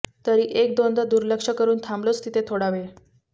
तरी एक दोनदा दुर्लक्ष करून थांबलोच तिथे थोडावेळ